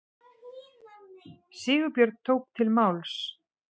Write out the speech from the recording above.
Sigurbjörn tók til máls.